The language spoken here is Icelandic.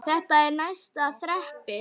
Þetta er neðsta þrepið.